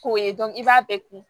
K'o ye i b'a bɛɛ kun